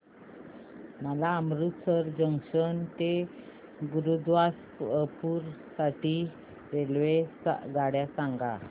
मला अमृतसर जंक्शन ते गुरुदासपुर साठी रेल्वेगाड्या सांगा